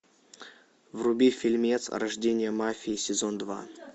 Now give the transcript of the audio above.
вруби фильмец рождение мафии сезон два